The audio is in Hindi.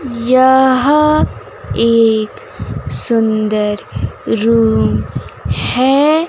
यहां एक सुंदर रूम है।